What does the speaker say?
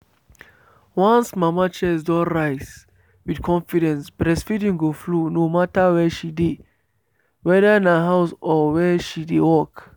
once mama chest don rise with confidence breastfeeding go flow no matter where she dey… whether na house or where she de work.